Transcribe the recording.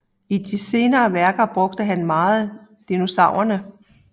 I de senere værker brugte han meget dissonanser